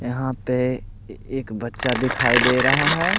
यहाँ पे एक बच्चा दिखाई दे रहा है।